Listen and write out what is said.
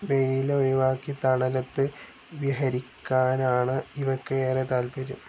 വെയിൽ ഒഴിവാക്കി തണലത്ത് വിഹരിയ്ക്കാനാണ് ഇവയ്ക്ക് ഏറെ താത്പര്യം.